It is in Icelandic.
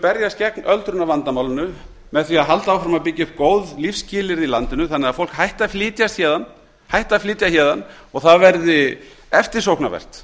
berjast gegn öldrunarvandamálið með því að halda áfram að byggja upp góð lífsskilyrði í landinu þannig að fólk hætti að flytjast héðan og það verði eftirsóknarvert